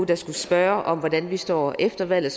der skulle spørge om hvordan vi står efter valget